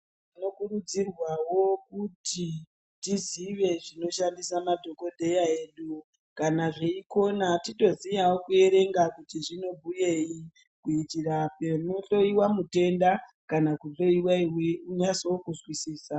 Tinokurudzirwawo kuti tizive zvinoshandisa madhokodheya edu. Kana teikona titoziyawo kuti zvinobhuyei kuitira panohloyiwa mutenda kana kuhloyiwa iwe unasewo kuzwisisa.